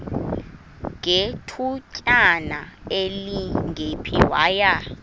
ngethutyana elingephi waya